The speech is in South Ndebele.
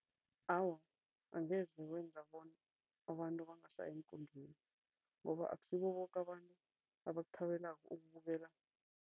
Awa, angeze kwenza bona abantu bangasayi eenkundleni ngoba akusibo boke abantu abakuthabelako ukubukela.